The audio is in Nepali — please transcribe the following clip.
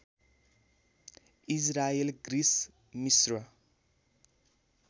इजरायल ग्रिस मिश्र